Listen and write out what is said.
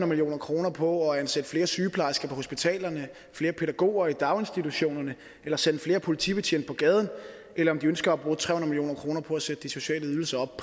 million kroner på at ansætte flere sygeplejersker på hospitalerne flere pædagoger i daginstitutionerne eller sende flere politibetjente på gaden eller om de ønsker at bruge tre hundrede million kroner på at sætte de sociale ydelser op